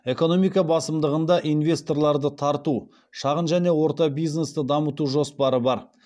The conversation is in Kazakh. экономика басымдығында инвесторларды тарту шағын және орта бизнесті дамыту жоспары бар